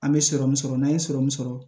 An bɛ sɔrɔmu sɔrɔ n'an ye sɔrɔmu sɔrɔ